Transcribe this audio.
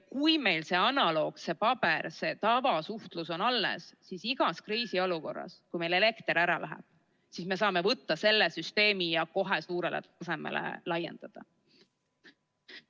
Kui meil see analoog, see paber, see tavasuhtlus on alles, siis igas kriisiolukorras, kui näiteks elekter ära läheb, me saame võtta selle süsteemi ja kohe suurele tasemele laiendada.